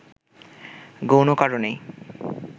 গৌণ কারণেই